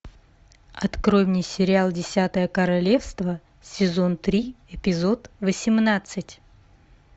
открой мне сериал десятое королевство сезон три эпизод восемнадцать